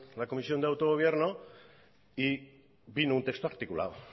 la comisión de autogobierno y vino un texto articulado